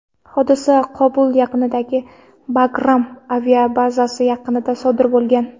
Hodisa Qobul yaqinidagi Bagram aviabazasi yaqinida sodir bo‘lgan.